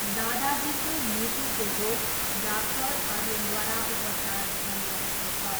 दादाजीको मुटुको रोग डाक्टर आर्यनद्वारा उपचार भइरहेको छ।